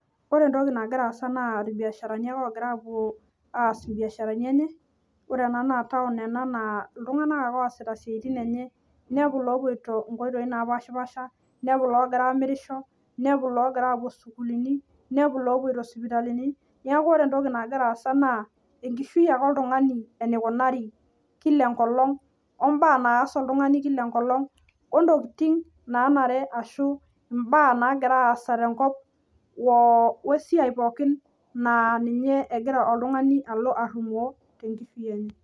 Ore entoki nagira aasa naa irbiasharani ake oogira apwo aas imbiasharani enye. Ore ena naa taon ena naa iltung'anak ake oosita siaitin enye kulo oopwoito inkoitoi napaashipaasha inepu iloogira aamirish, inepu iloogira aapwo sukuulini, inepu lopwoito sipitalini, neeku ore entoki nagira aasa naa enkishui ake oltung'ani enikunaari kila enkolong o mbaak naas oltung'ani kila enkolong o ntokiting naanare ashu imbaak nagira aasa tenkop wesiai pookin naa ninye egira oltung'ani alo arrumoo tenkishui enye